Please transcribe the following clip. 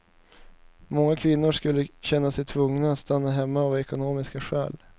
Många kvinnor skulle känna sig tvungna att stanna hemma av ekonomiska skäl.